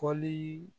Fɔli